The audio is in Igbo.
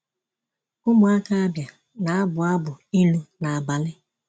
Ụmụaka Abia na-abụ abụ ilu n’abalị.